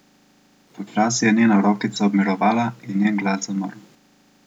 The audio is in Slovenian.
Počasi je njena rokica obmirovala in njen glas zamrl.